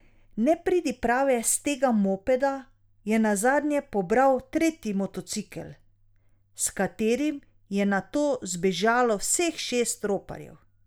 Nepridiprave s tega mopeda je nazadnje pobral tretji motocikel, s katerim je nato zbežalo vseh šest roparjev.